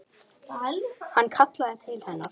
Hann kallaði til hennar.